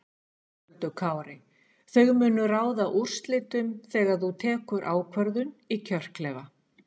Höskuldur Kári: Þau munu ráða úrslitum þegar þú tekur ákvörðun í kjörklefa?